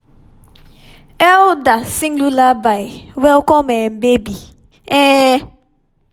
elder sing lullaby welcome um baby. um